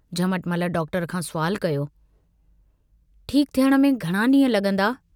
Jhamatmal doctor खां सवालु कयो, ठीक थियण में घणा ड्रींह लगंदा?